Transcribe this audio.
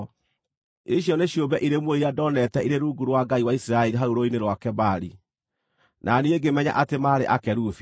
Icio nĩ ciũmbe irĩ muoyo iria ndoonete irĩ rungu rwa Ngai wa Isiraeli hau Rũũĩ-inĩ rwa Kebari, na niĩ ngĩmenya atĩ maarĩ akerubi.